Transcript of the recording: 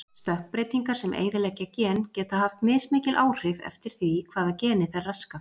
Stökkbreytingar sem eyðileggja gen geta haft mismikil áhrif eftir því hvaða geni þær raska.